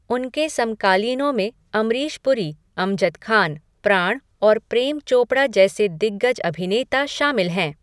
उनके समकालीनों में अमरीश पुरी, अमजद खान, प्राण और प्रेम चोपड़ा जैसे दिग्गज अभिनेता शामिल हैं।